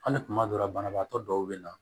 Hali kuma dɔw la banabaatɔ dɔw bɛ na